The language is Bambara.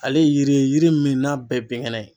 Ale ye yiri ye yiri min n'a bɛɛ ye binkɛnɛ ye.